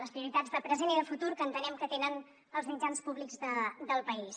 les prioritats de present i de futur que entenem que tenen els mitjans públics del país